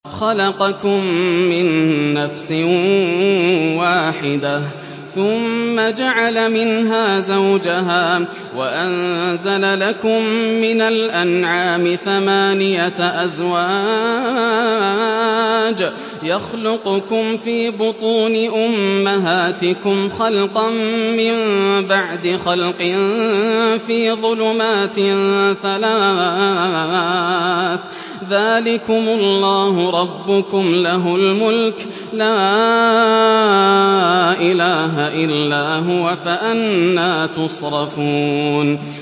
خَلَقَكُم مِّن نَّفْسٍ وَاحِدَةٍ ثُمَّ جَعَلَ مِنْهَا زَوْجَهَا وَأَنزَلَ لَكُم مِّنَ الْأَنْعَامِ ثَمَانِيَةَ أَزْوَاجٍ ۚ يَخْلُقُكُمْ فِي بُطُونِ أُمَّهَاتِكُمْ خَلْقًا مِّن بَعْدِ خَلْقٍ فِي ظُلُمَاتٍ ثَلَاثٍ ۚ ذَٰلِكُمُ اللَّهُ رَبُّكُمْ لَهُ الْمُلْكُ ۖ لَا إِلَٰهَ إِلَّا هُوَ ۖ فَأَنَّىٰ تُصْرَفُونَ